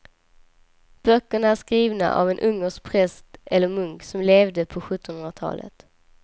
Böckerna är skrivna av en ungersk präst eller munk som levde på sjuttonhundratalet.